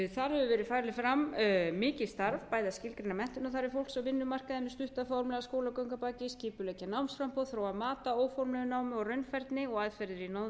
þar hefur farið fram mikið starf bæði að skilgreina menntunarfæri fólks á vinnumarkaði með stutta formlega skólagöngu að baki skipuleggja námsframboð þróa mat á óformlegu námi og raunfærni og aðferðir í náms og